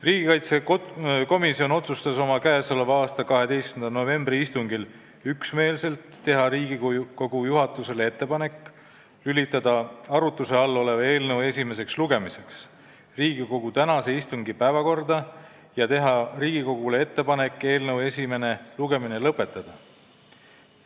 Riigikaitsekomisjon otsustas oma k.a 12. novembri istungil üksmeelselt teha Riigikogu juhatusele ettepaneku lülitada arutuse all olev eelnõu esimeseks lugemiseks Riigikogu tänase istungi päevakorda ja teha Riigikogule ettepaneku eelnõu esimene lugemine lõpetada.